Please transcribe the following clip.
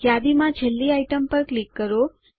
યાદીમાં છેલ્લી આઈટમ પર ક્લિક કરો